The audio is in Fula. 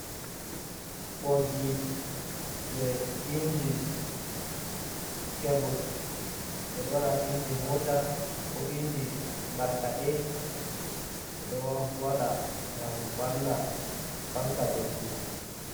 Boggi je inji kebul, ɓedo wada ha inji mota ko inji markade bedo wada gam valla fanka doggudu.